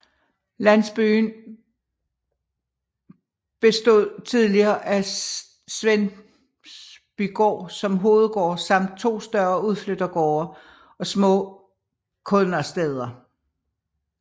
Landsbyen bestød tidligere af Svendsbygaard som hovedgård samt to større udflyttergårde og små kådnersteder